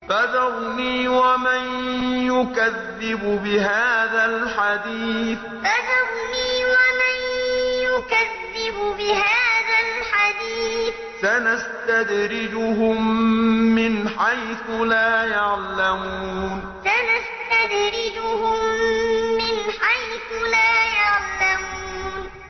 فَذَرْنِي وَمَن يُكَذِّبُ بِهَٰذَا الْحَدِيثِ ۖ سَنَسْتَدْرِجُهُم مِّنْ حَيْثُ لَا يَعْلَمُونَ فَذَرْنِي وَمَن يُكَذِّبُ بِهَٰذَا الْحَدِيثِ ۖ سَنَسْتَدْرِجُهُم مِّنْ حَيْثُ لَا يَعْلَمُونَ